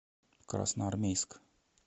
красноармейск